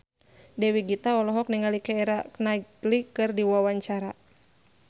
Dewi Gita olohok ningali Keira Knightley keur diwawancara